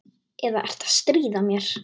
Eða ertu að stríða mér?